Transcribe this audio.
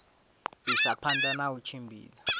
isa phanda na u tshimbidza